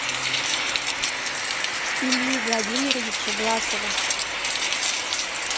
ильи владимировича власова